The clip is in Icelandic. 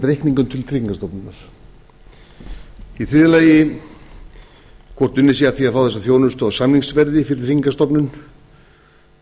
reikningum til tryggingastofnunar í þriðja lagi hvort unnið sé að því að fá þessa þjónustu á samningsverði fyrir tryggingastofnun í fjórða lagi